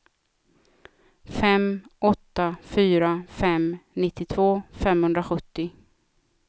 fem åtta fyra fem nittiotvå femhundrasjuttio